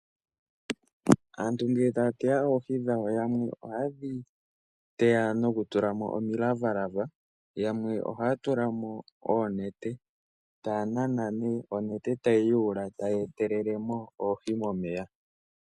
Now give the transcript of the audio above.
Aantu ngele taya teya oohi dhawo, yamwe ohayedhi teya nokutulamo omilavalava, yamwe ohaya tulamo oonete, yo onete tayi yuula, yo tayi etelele oohi momeya.